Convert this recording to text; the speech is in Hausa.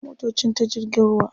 Ana kawo motocin ta jirgin ruwa.